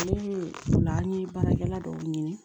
Ne ye o la an ye baarakɛla dɔw ɲini